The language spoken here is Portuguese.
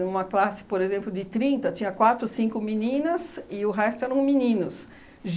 Em uma classe, por exemplo, de trinta, tinha quatro cinco meninas e o resto eram meninos.